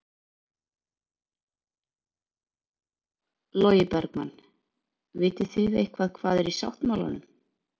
Logi Bergmann: Vitið þið eitthvað hvað er í sáttmálanum?